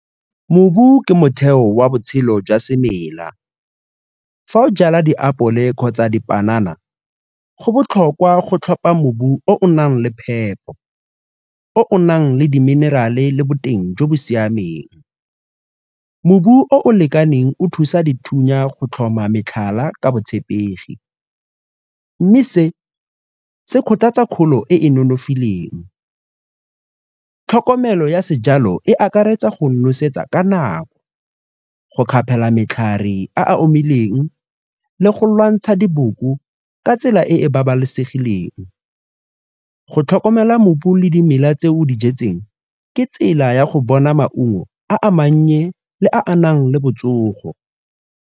Mobu ke motheo wa botshelo jwa semela. Fa o jala diapole kgotsa dipanana, go botlhokwa go tlhopa mobu o o nang le phepo, o o nang le di-mineral-e le boteng jo bo siameng. Mobu o o lekaneng o thusa dithunya go tlhoma metlhala ka botshepegi mme se se kgothatsa kgolo e e nonofileng, tlhokomelo ya sejalo e akaretsa go nosetsa ka nako, go kgapela matlhare a a omileng le go lwantsha diboko ka tsela e e babalesegileng. Go tlhokomela mobu le dimela tse o dijetseng ke tsela ya go bona maungo a a mannye le a anang le botsogo.